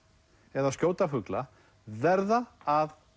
eða skjóta fugla verða að